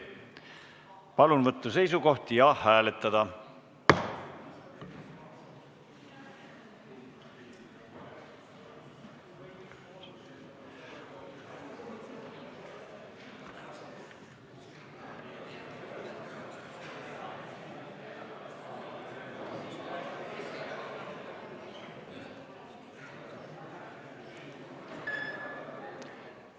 Palun võtta seisukoht ja hääletada!